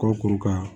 Kɔkorokara